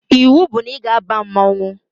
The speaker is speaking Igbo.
Iwu bụ na ị ga-aba mmanwụ